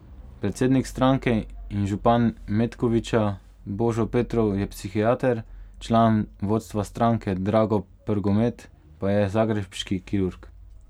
Predsednik stranke in župan Metkovića Božo Petrov je psihiater, član vodstva stranke Drago Prgomet pa je zagrebški kirurg.